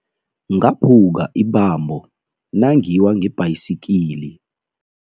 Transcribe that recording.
Ngaphuka ibambo nangiwa ngebhayisikili.